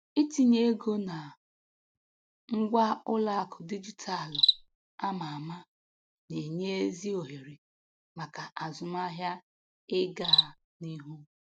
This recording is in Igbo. Itinye ego na ngwa ụlọakụ dijitalụ ama ama na-enye ezi ohere maka azụmahịa ịgaa n'ihu.